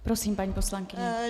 Prosím, paní poslankyně.